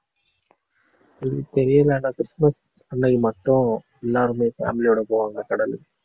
அது தெரியல ஆனா கிறிஸ்துமஸ் அன்னைக்கு மட்டும் எல்லாருமே family யோட போவாங்க கடலுக்கு.